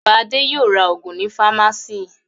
Bàbá Adé yóò ra òògùn ní fámásíì.